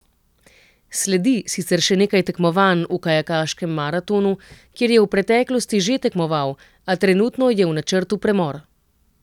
Sledi sicer še nekaj tekmovanj v kajakaškem maratonu, kjer je v preteklosti že tekmoval, a trenutno je v načrtu premor.